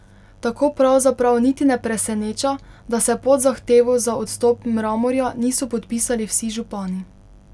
Tako pravzaprav niti ne preseneča, da se pod zahtevo za odstop Mramorja niso podpisali vsi župani.